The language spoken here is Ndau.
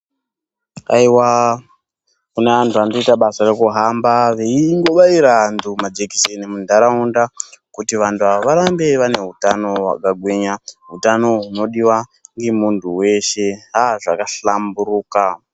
Hayiwa kune vantu vanoita basa rekuhamba veyibayawo majekiseni muntaraunda kuti vantu ava varambe vane utano hwakagwinya hutano hunodiwa nemuntu weshe azvaka hlamburuka.